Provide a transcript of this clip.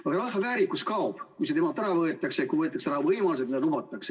Aga rahva väärikus kaob, kui temalt võetakse ära võimalused, mida on lubatud.